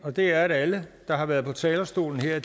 og det er at alle der har været på talerstolen her er